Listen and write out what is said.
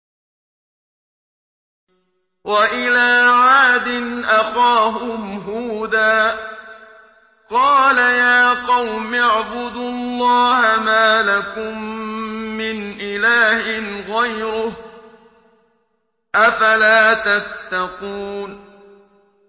۞ وَإِلَىٰ عَادٍ أَخَاهُمْ هُودًا ۗ قَالَ يَا قَوْمِ اعْبُدُوا اللَّهَ مَا لَكُم مِّنْ إِلَٰهٍ غَيْرُهُ ۚ أَفَلَا تَتَّقُونَ